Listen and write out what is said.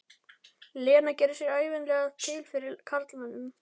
Lena gerir sig ævinlega til fyrir karlmönnum.